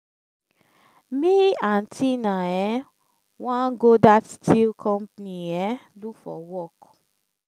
me and tina um wan go that steel company um look for work